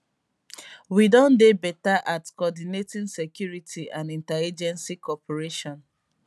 we don dey betta at coordinating security and interagency cooperation